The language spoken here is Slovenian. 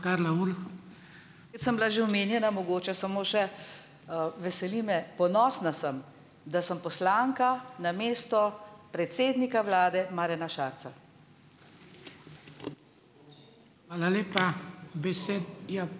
Jaz sem bila že omenjena, mogoče samo še, veseli me, ponosna sem, da sem poslanka namesto predsednika vlade Marjana Šarca.